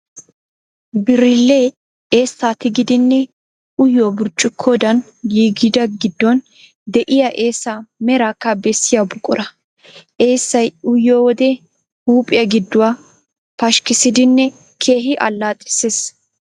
Birillee eessaa tigidinne uyiyo burccuqqodan giigida, giddon de'iya eessaa meraakka bessiya buqura. Eessay uyiyo wode huuphiyaa gidduwaa pashkkissidinne keehi allaxxissees.